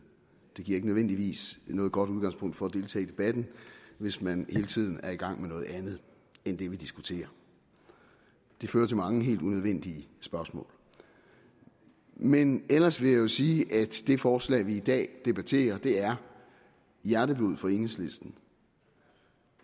det giver ikke nødvendigvis noget godt udgangspunkt for at deltage i debatten hvis man hele tiden er i gang med noget andet end det vi diskuterer det fører til mange helt unødvendige spørgsmål men ellers vil jeg sige at det forslag vi i dag debatterer er hjerteblod for enhedslisten